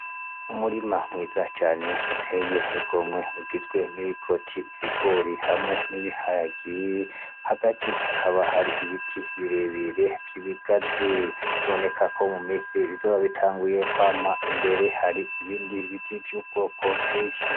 Umurima mwiza cane uteye igomwe ugizwe n'ibikoti, ibigori, hamwe n'ibiharage, hagati hakaba hari ibiti birebire vy'ibigazi biboneka ko mu misi bizoba bitanguye kwama, imbere hari ibindi biti vy'ubwoko bwinshi.